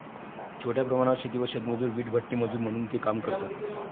छोट्या प्रमाणावर शेती व शेतमजूर, वीटभट्टीमजूर म्हणून ते काम करतात.